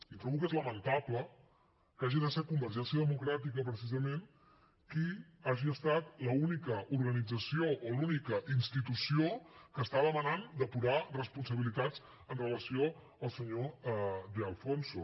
i trobo que és lamentable que hagi de ser convergència democràtica precisament que hagi estat l’única organització o l’única institució que està demanant depurar responsabilitats amb relació al senyor de alfonso